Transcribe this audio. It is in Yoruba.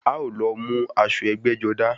A ó lọ mú aṣọ ẹgbẹ́-jọdá.